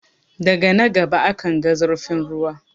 Daga na gaba akanga zurfin ruwa.